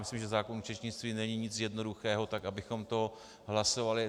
Myslím, že zákon o účetnictví není nic jednoduchého, tak abychom to hlasovali...